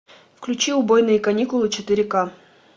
включи убойные каникулы четыре ка